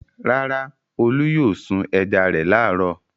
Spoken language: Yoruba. Rárá, Olú yóò sun ẹja rẹ̀ láàárọ̀.